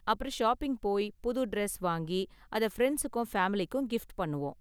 அப்பறம் ஷாப்பிங் போய் புது டிரெஸ் வாங்கி அதை ஃபிரண்ட்ஸ்க்கும் ஃபேமிலிக்கும் கிஃப்ட் பண்ணுவோம்.